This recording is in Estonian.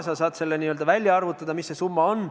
Sa saad välja arvutada, mis see summa on.